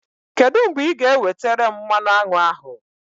Kedụ mgbe ị ga-ewetere m mmanụ aṅụ ahụ?